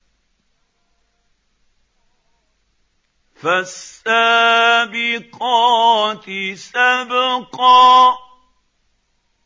فَالسَّابِقَاتِ سَبْقًا